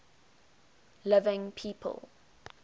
living people